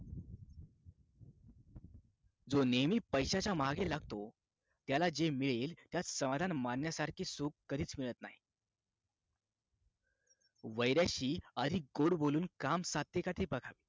जो नेहमी पैशाच्या मागे लागतो त्याला जे मिळेल त्यात समाधान मानण्यासारखे सुख कधीच मिळत नाही वैराशी आधी गोड बोलून काम साध्य का ते बघा